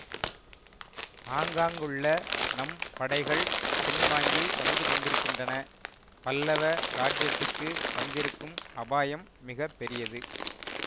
ஆங்காங்குள்ள நம் படைகள் பின்வாங்கி வந்துகொண்டிருக்கின்றன பல்லவ ராஜ்யத்துக்கு வந்திருக்கும் அபாயம் மிக பெரியது